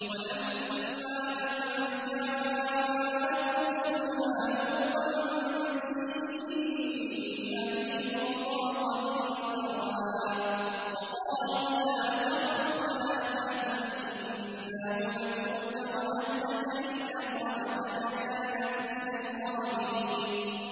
وَلَمَّا أَن جَاءَتْ رُسُلُنَا لُوطًا سِيءَ بِهِمْ وَضَاقَ بِهِمْ ذَرْعًا وَقَالُوا لَا تَخَفْ وَلَا تَحْزَنْ ۖ إِنَّا مُنَجُّوكَ وَأَهْلَكَ إِلَّا امْرَأَتَكَ كَانَتْ مِنَ الْغَابِرِينَ